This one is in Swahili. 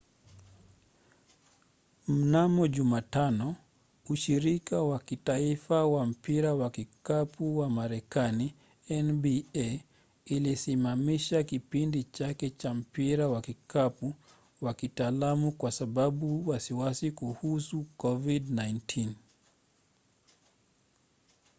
mnamo jumatano ushirika wa kitaifa wa mpira wa kikapu wa marekani nba ulisimamisha kipindi chake cha mpira wa kikapu wa kitaalamu kwa sababu ya wasiwasi kuhusu covid-19